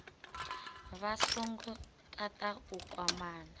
vha songo tata u kwamana